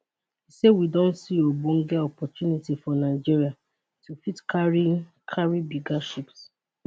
e say we don see ogbonge opportunity for nigeria to fit carry carry bigger ships